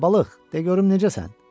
Hə, balıq, de görüm necəsən?